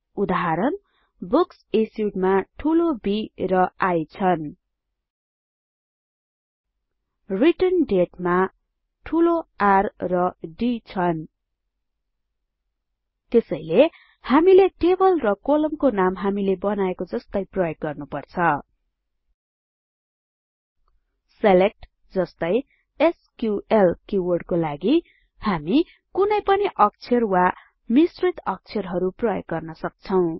उदाहरणBooksIssued मा ठूलो B र I छन् रिटर्नडेट मा ठूलो R र D छन् त्यसैले हामीले टेबल र कोलमको नाम हामीले बनाएको जस्तै प्रयोग गर्नुपर्छ सिलेक्ट जस्तै एसक्यूएल किवार्डको लागि हामी कुनै पनि अक्षर वा मिश्रित अक्षरहरु प्रयोग गर्न सक्छौं